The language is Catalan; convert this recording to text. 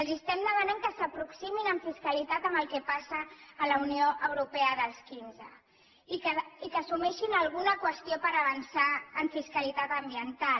els estem demanant que s’aproximin en fiscalitat al que passa a la unió europea dels quinze i que assumeixin alguna qüestió per avançar en fiscalitat ambiental